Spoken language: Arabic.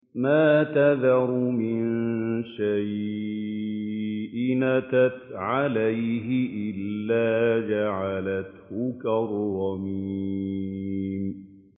مَا تَذَرُ مِن شَيْءٍ أَتَتْ عَلَيْهِ إِلَّا جَعَلَتْهُ كَالرَّمِيمِ